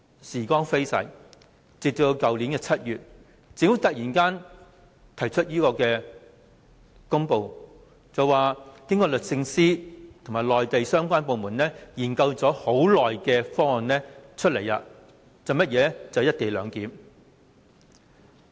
時光飛逝，直至去年7月，政府卻突然發表公布，要推出經律政司和內地相關部門研究已久的方案，那就是"一地兩檢"方案。